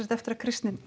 eftir að kristni